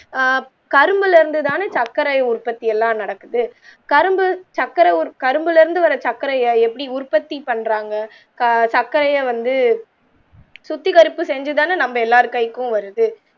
ஆஹ் கரும்பில் இருந்து தானே சர்க்கரை உற்பத்தி எல்லாம் நடக்குது கரும்பு சக்கர கரும்பிலிருந்து வர சக்கரைய இப்படி உற்பத்தி பண்றாங்க ஆஹ் சர்க்கரையை வந்து ஆஹ் சுத்திக் கருப்பு செஞ்சி தானே நம்ம எல்லார்ட கைக்கும் வருது